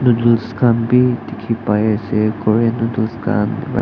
noodles khan be dikhi pai ase korean noodles khan--